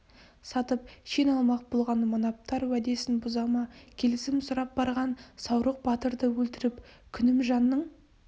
сатып шен алмақ болған манаптар уәдесін бұза ма келісім сұрап барған саурық батырды өлтіріп күнімжанның